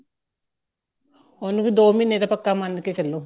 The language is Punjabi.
ਉਹਨੂੰ ਵੀ ਦੋ ਮਹੀਨੇ ਤਾਂ ਪੱਕਾ ਮੰਨਕੇ ਚਲੋ